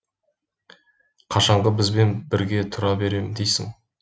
қашанғы бізбен бірге тұра берем дейсің